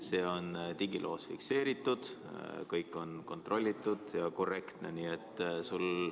See on digiloos fikseeritud, kõik on kontrollitud ja korrektne.